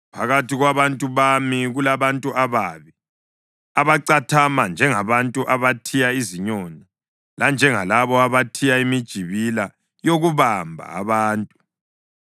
Phakathi kwabantu bami kulabantu ababi abacathama njengabantu abathiya izinyoni, lanjengalabo abathiya imijibila yokubamba abantu.